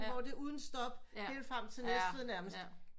Hvor det er uden stop helt frem til Næstved nærmest